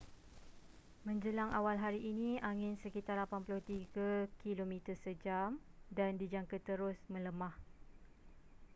menjelang awal hari ini angin sekitar 83 km sejam dan dijangka terus melemah